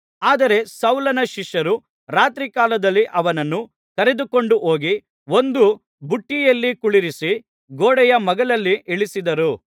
ಆದರೆ ಸೌಲನ ಶಿಷ್ಯರು ರಾತ್ರಿಕಾಲದಲ್ಲಿ ಅವನನ್ನು ಕರೆದುಕೊಂಡುಹೋಗಿ ಒಂದು ಪುಟ್ಟಿಯಲ್ಲಿ ಕುಳ್ಳಿರಿಸಿ ಗೋಡೆಯ ಮಗ್ಗುಲಲ್ಲಿ ಇಳಿಸಿದರು